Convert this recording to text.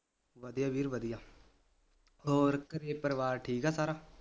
ਵਧੀਆ ਵੀਰ ਵਧੀਆ ਹੋਰ ਘਰੇ ਪਰਿਵਾਰ ਠੀਕ ਆ ਸਾਰਾ